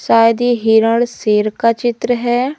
शायद ये हिरण शेर का चित्र है।